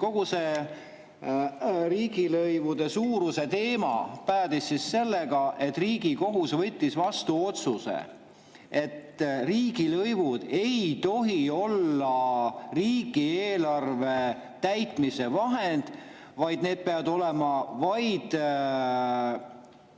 Kogu see riigilõivude suuruse teema päädis sellega, et Riigikohus võttis vastu otsuse, et riigilõivud ei tohi olla riigieelarve täitmise vahend, vaid need peavad olema ainult